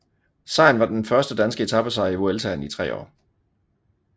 Sejren var den første danske etapesejr i Vueltaen i tre år